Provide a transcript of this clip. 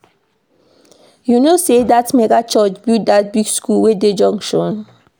You know sey dat mega church build dat big skool wey dey junction?